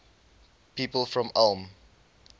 people from ulm